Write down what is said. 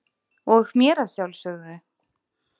og mér að sjálfsögðu.